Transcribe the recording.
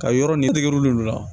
Ka yɔrɔ ni tɛgɛ wul' olu la